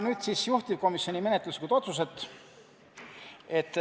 Nüüd aga juhtivkomisjoni menetluslikest otsustest.